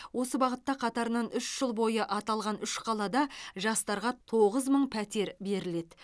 осы бағытта қатарынан үш жыл бойы аталған үш қалада жастарға тоғыз мың пәтер беріледі